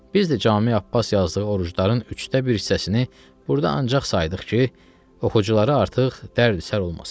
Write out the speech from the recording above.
Biz də Cami Abbas yazdığı orucların üçdə bir hissəsini burda ancaq saydıq ki, oxuculara artıq dərd-sər olmasın.